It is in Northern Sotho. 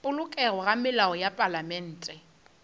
polokego ga melao ya palamente